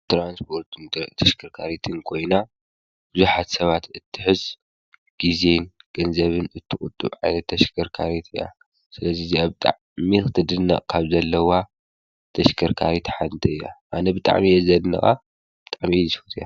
ትራንስፖርትን ተሽከርካሪትን ኮይና ብዙሓት ሰባት እትሕዝ ግዘን ገንዘብን እትቁጡብ ዓይነት ተሽከርካሪት እያ። ስለዚ እዚአ ብጣዕሚ ቅትድነቅ ካብ ዘለዋ ተሽከርካሪት ሓንቲ እያ። አነ ብጣዕሚ እየ ዘድንቃ ብጣዕሚ እየ ዝፈትያ።